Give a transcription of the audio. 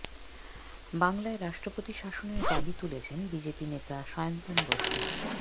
বাংলায় রাষ্ট্রপতি শাসনের দাবি তুলেছেন বিজেপি নেতা সায়ন্তন বসু